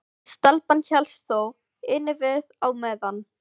En stelpan hélst þó innivið á meðan.